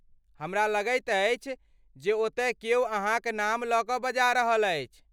हमरा लगैत अछि जे ओतय क्यो अहाँक नाम लऽ कऽ बजा रहल अछि।